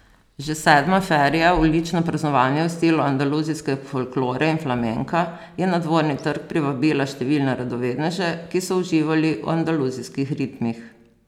Že sedma feria, ulično praznovanje v stilu andaluzijske folklore in flamenka, je na Dvorni trg privabila številne radovedneže, ki so uživali v andaluzijskih ritmih.